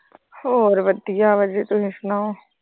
ਹੋਰ ਵਧੀਆ ਵਾ ਤੇ ਤੂੰ ਸੁਣਾ।